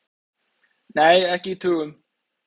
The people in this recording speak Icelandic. Nei, ekki í tugum.